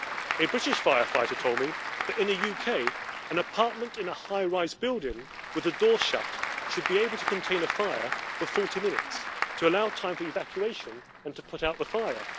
A British firefighter told me that in the UK, an apartment in a high rise building with the door shut should be able to contain a fire for 40 minutes to allow time for evacuation and to put out the fire.